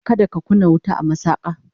kada ka kunna wuta a masaka!